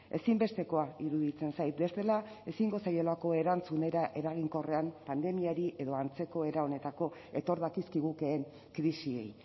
ezinbestekoa iruditzen zait bestela ezingo zaielako erantzun era eraginkorrean pandemiari edo antzeko era honetako etor dakizkigukeen krisiei